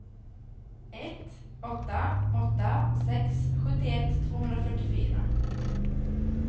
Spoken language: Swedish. ett åtta åtta sex sjuttioett tvåhundrafyrtiofyra